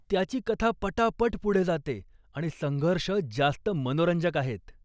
त्याची कथा पटापट पुढे जाते आणि संघर्ष जास्त मनोरंजक आहेत.